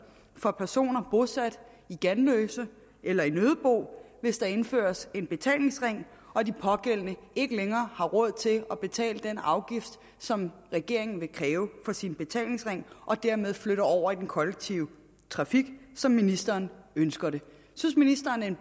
for personer bosat i ganløse eller i nøddebo hvis der indføres en betalingsring og de pågældende ikke længere har råd til at betale den afgift som regeringen vil kræve for sin betalingsring og dermed flytter over i den kollektive trafik som ministeren ønsker det synes ministeren